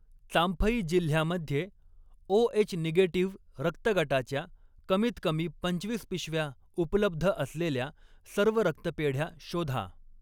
चांफई जिल्ह्यामध्ये O H negative रक्तगटाच्या कमीत कमी पंचवीस पिशव्या उपलब्ध असलेल्या सर्व रक्तपेढ्या शोधा.